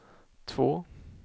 två